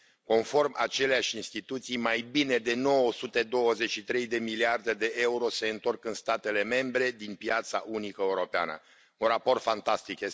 Conform aceleiași instituții, mai bine de 923 de miliarde de euro se întorc în statele membre din piața unică europeană un raport fantastic.